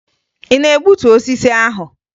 Ị na-egbutu osisi ahụ?